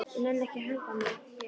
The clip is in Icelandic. Ég nenni ekki að hanga hér.